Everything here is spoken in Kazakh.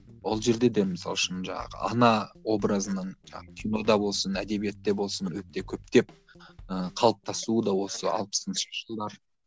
ол жерде де мысалы үшін жаңағы ана образынан жаңағы кинода болсын әдебиетте болсын өте көптеп ы қалыптасуы да осы алпысыншы жылдар